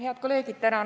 Head kolleegid!